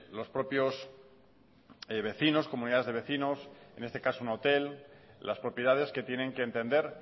los propios vecinos comunidades de vecinos en este caso un hotel las propiedades que tienen que entender